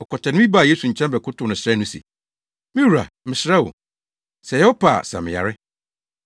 Ɔkwatani bi baa Yesu nkyɛn bɛkotow no srɛɛ no se, “Me wura, mesrɛ wo, sɛ ɛyɛ wo pɛ a, sa me yare.”